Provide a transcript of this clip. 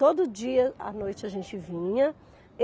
Todo dia à noite a gente vinha.